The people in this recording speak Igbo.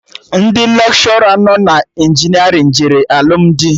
Ndị lekshọra nọ na injinerịn jere alụmdi